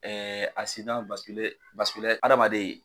Ɛɛ a sina adamaden